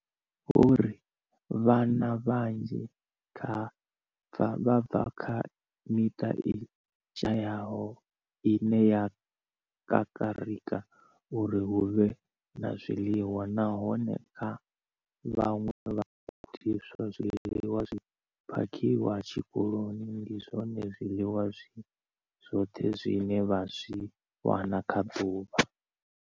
Vho ri vhana vhanzhi vha bva kha miṱa i shayaho ine ya kakarika uri hu vhe na zwiḽiwa, nahone kha vhaṅwe vhagudiswa, zwiḽiwa zwi phakhiwaho tshikoloni ndi zwone zwiḽiwa zwi zwoṱhe zwine vha zwi wana kha ḓuvha.